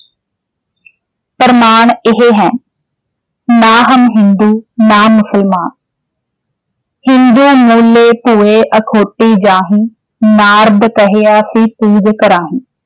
ਪ੍ਰਮਾਣ ਇਹੇ ਹੈ ਨਾ ਹਮ ਹਿੰਦੂ ਨਾ ਮੁਸਲਮਾਨ ਹਿੰਦੂ